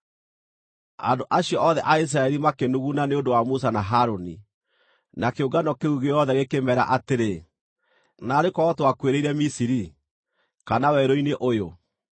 Andũ acio othe a Isiraeli makĩnuguna nĩ ũndũ wa Musa na Harũni, na kĩũngano kĩu gĩothe gĩkĩmeera atĩrĩ, “Naarĩ korwo twakuĩrĩire Misiri! Kana werũ-inĩ ũyũ!